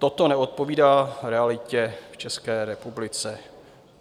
Toto neodpovídá realitě v České republice.